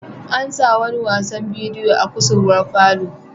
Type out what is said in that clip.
An sanya wasan bidiyo a kusurwar falo.